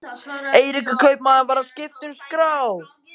Eiríkur kaupmaður var að skipta um skrá.